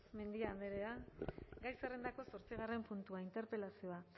mendia andrea gai zerrendako zortzigarren puntua interpelazioa